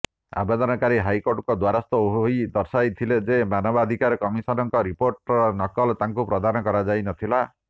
ଆବେଦନକାରୀ ହାଇକୋର୍ଟଙ୍କ ଦ୍ୱାରସ୍ଥ ହୋଇ ଦର୍ଶାଇଥିଲେ ଯେ ମାନବାଧିକାର କମିସନଙ୍କ ରିପୋର୍ଟର ନକଲ ତାଙ୍କୁ ପ୍ରଦାନ କରାଯାଇ ନଥିଲା